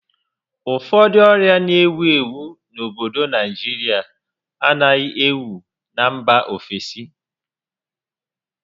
Ụfọdụ ọrịa n'ewu ewu n'obodo Naijirịa anaghị ewu na mba ofesi